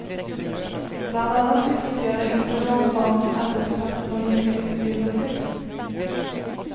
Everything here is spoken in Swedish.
Bland annat existerar inte någon sådan arbetsplats som beskrivs i bild och text.